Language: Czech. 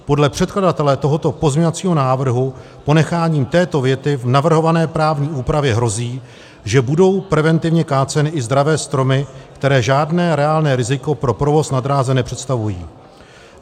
Podle předkladatele tohoto pozměňovacího návrhu ponecháním této věty v navrhované právní úpravě hrozí, že budou preventivně káceny i zdravé stromy, které žádné reálné riziko pro provoz na dráze nepředstavují.